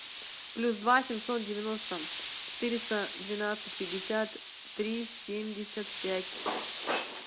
плюс два семьсот девяносто четыреста двенадцать пятьдесят три семьдесят пять